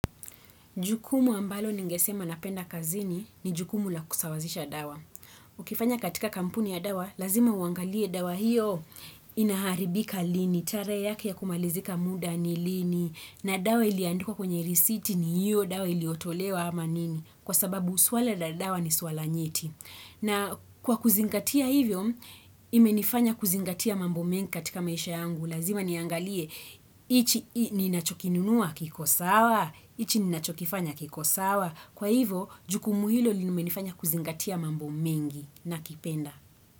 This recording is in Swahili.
Jukumu ambalo ningesema napenda kazini, ni jukumu la kusawazisha dawa. Ukifanya katika kampuni ya dawa, lazima uangalie dawa hiyo inaharibika lini. Tarehe yake ya kumalizika muda ni lini? Na dawa iliyoandikwa kwenye risiti ni hiyo dawa iliotolewa ama nini? Kwa sababu swala la dawa ni swala nyeti. Na kwa kuzingatia hivyo, imenifanya kuzingatia mambo mengi katika maisha yangu. Lazima niangalie, hichi ninachokinunua kiko sawa? Hichi ninachokifanya kiko sawa? Kwa hivo, jukumu hilo limenifanya kuzingatia mambo mengi, nakipenda.